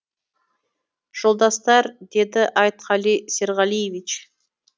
жолдастар деді айтқали серғалиевич